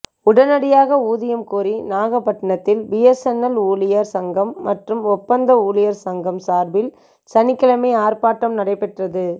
உடனடியாக ஊதியம் கோரி நாகப்பட்டினத்தில் பிஎஸ்என்எல் ஊழியர் சங்கம் மற்றும் ஒப்பந்த ஊழியர் சங்கம் சார்பில் சனிக்கிழமை ஆர்ப்பட்டம் நடைபெற்றது